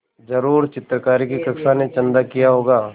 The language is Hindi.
ज़रूर चित्रकारी की कक्षा ने चंदा किया होगा